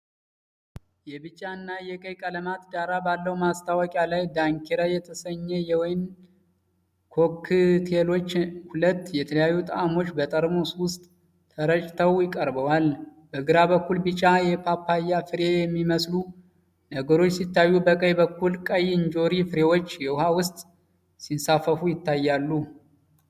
የቢጫ እና ቀይ ቀለማት ዳራ ባለው ማስታወቂያ ላይ፣ 'ዳንኪራ' የተሰኙ የወይን ኮክቴሎች ሁለት የተለያዩ ጣዕሞች በጠርሙስ ውስጥ ተረጭተው ቀርበዋል። በግራ በኩል ቢጫ የፓፓያ ፍሬ የሚመስሉ ነገሮች ሲታዩ፣ በቀኝ በኩል ቀይ እንጆሪ ፍሬዎች ውሃ ውስጥ ሲንሳፈፉ ይታያሉ።